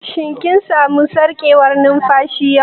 Shin kin samu sarƙewar numfashi yau?